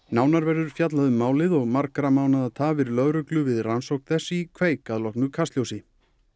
nánar verður fjallað um málið og margra mánaða tafir lögreglu við rannsókn þess í kveik að loknu Kastljósi